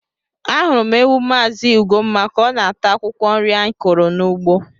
Ahụrụ m ewu Mazị Ugomma ka ọ na-ata akwụkwọ nri anyị kụrụ n’ugbo.